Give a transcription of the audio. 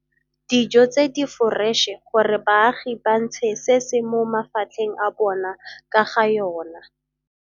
dijo tse di foreše gore baagi ba ntshe se se mo mafatlheng a bona ka ga yona.